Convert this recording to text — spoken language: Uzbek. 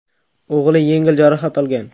O‘g‘li yengil jarohat olgan.